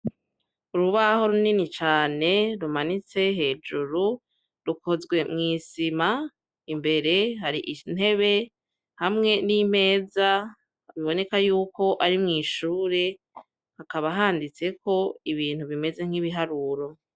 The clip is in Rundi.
Urubaho runini cane rumanitse hejuru, rukozwe mw'isima. Imbere hari intebe hamwe n'imeza, biboneka yuko ari mw'ishure. Hakaba handitseko ibintu bimeze nk'ibiharuro.